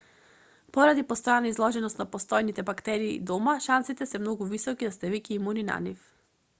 поради постојана изложеност на постојните бактерии дома шансите се многу високи да сте веќе имуни на нив